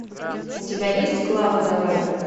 у тебя есть клава давай